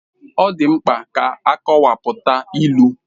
Ọ dị mkpa ka akọwapụta ilu.